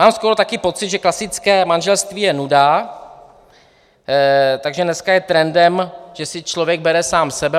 Mám skoro také pocit, že klasické manželství je nuda, takže dneska je trendem, že si člověk bere sám sebe.